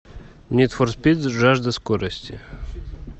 нид фор спид жажда скорости